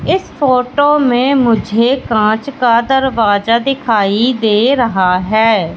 इस फोटो में मुझे कांच का दरवाजा दिखाई दे रहा है।